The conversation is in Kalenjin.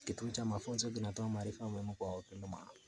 Kituo cha mafunzo kinatoa maarifa muhimu kwa wakulima.